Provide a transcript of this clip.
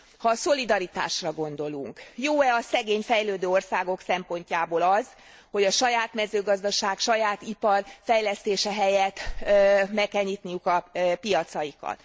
Ha a szolidaritásra gondolunk jó e a szegény, fejlődő országok szempontjából az, hogy a saját mezőgazdaság, saját ipar fejlesztése helyett meg kell nyitniuk a piacaikat?